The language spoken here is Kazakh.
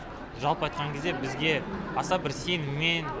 жалпы айтқан кезде бізге аса бір сеніммен